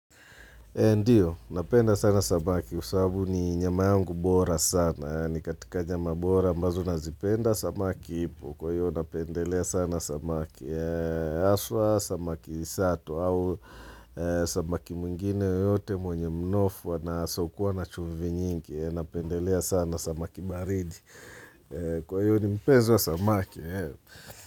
Ndiyo, napenda sana samaki kwa sababu ni nyama yangu bora sana. Ni katika nyama bora ambazo nazipenda samaki ipo. Kwa hivyo napendelea sana samaki haswa, samaki sato. Au samaki mwingine yeyote mwenye mnofu, asiyekuwa na chumvi nyingi. Napendelea sana samaki baridi. Kwa hivyo mi ni mpenzi wa samaki.